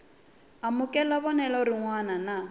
amukela vonelo rin wana na